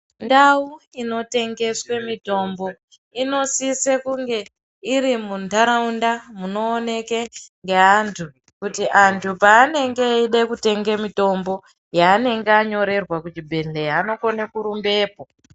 Ndau inotengeswe mitombo inosise kunge iri muntaraunda munooneke ngeantu, kuti antu peanenge eide kutenge mitombo, yeanenge anyorerwa kuchibhedhlera anokone kurumbepo.